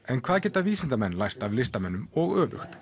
en hvað geta vísindamenn lært af listamönnum og öfugt